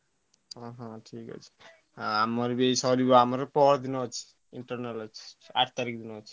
ଓଃହୋ ଠିକ ଅଛି ଆମର ସାରିବ ଏଇ ପହରଦିନ ଅଛି internal ଅଛି ଆଠ ତାରିଖ ରେ ଅଛି।